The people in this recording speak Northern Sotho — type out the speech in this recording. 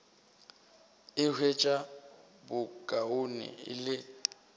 a hwetša bokaone e le